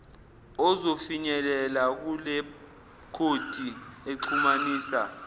ozofinyelela kulekhodi exhumanisa